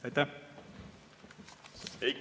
Aitäh!